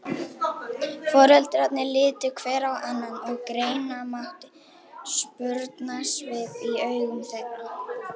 Breiðablik er með töluvert sterkara lið en Afturelding og spilar á heimavelli.